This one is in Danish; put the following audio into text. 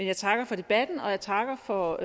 jeg takker for debatten og jeg takker for